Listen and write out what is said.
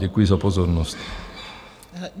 Děkuji za pozornost.